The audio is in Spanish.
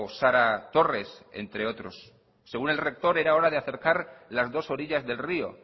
sara torres entre otros según el rector era hora de acercar las dos orillas del rio